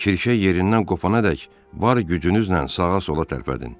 Kirşə yerindən qopanadək var gücünüzlə sağa-sola tərpədin.